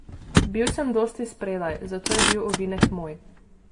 Bil sem dosti spredaj, zato je bil ovinek moj.